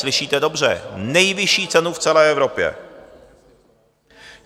Slyšíte dobře, nejvyšší cenu v celé Evropě!